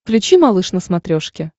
включи малыш на смотрешке